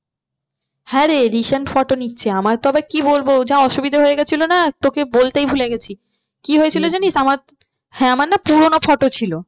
হ্যাঁ রে recent photo নিচ্ছে আমার তো আবার কি বলবো যা অসুবিধা হয়ে গিয়েছিলো না তোকে বলতেই ভুলে গেছি কি হয়েছিল জানিস আমার, হ্যাঁ আমার না পুরোনো photo ছিল